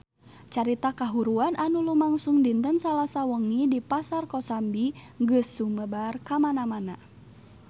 Carita kahuruan anu lumangsung dinten Salasa wengi di Pasar Kosambi geus sumebar kamana-mana